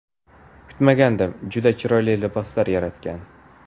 Kutmagandim, juda chiroyli liboslar yaratgan.